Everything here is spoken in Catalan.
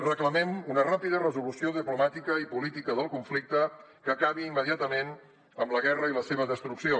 reclamem una ràpida resolució diplomàtica i política del conflicte que acabi immediatament amb la guerra i la seva destrucció